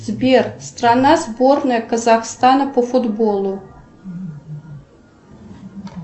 сбер страна сборная казахстана по футболу